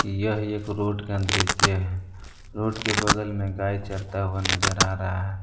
यह एक रोड का दृश्य है रोड के बगल में गाय चरता हुआ नजर आ रहा है।